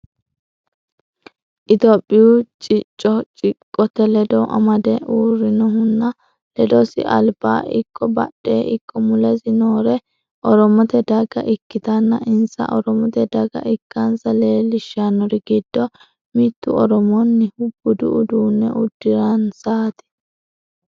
itiyophiyu cicco ciqqote ledo amade uurrinnohunna ledosi albaa ikko badhe ikko mulesi noori oromote daga ikkitanna insa oromote daga ikkanasa leellishannori giddo mittu oromonniha budu udunne uddiransati.